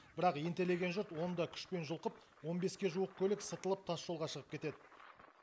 бірақ ентелеген жұрт оны да күшпен жұлқып он беске жуық көлік сытылып тасжолға шығып кетед